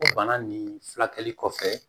O bana nin furakɛli kɔfɛ